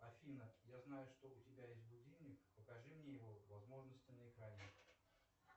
афина я знаю что у тебя есть будильник покажи мне его возможности на экране